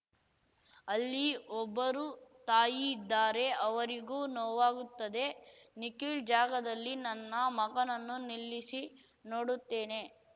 ಅಲ್ಲಿ ಒಬ್ಬರು ತಾಯಿ ಇದ್ದಾರೆ ಅವರಿಗೂ ನೋವಾಗುತ್ತದೆ ನಿಖಿಲ್ ಜಾಗದಲ್ಲಿ ನನ್ನ ಮಗನನ್ನು ನಿಲ್ಲಿಸಿ ನೋಡುತ್ತೇನೆ